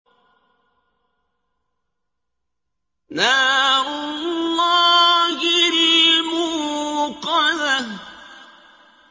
نَارُ اللَّهِ الْمُوقَدَةُ